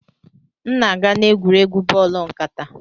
M na-aga n'egwuregwu bọọlụ nkata